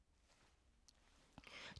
DR P3